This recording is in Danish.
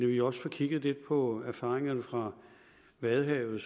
vi også får kigget lidt på erfaringerne fra vadehavet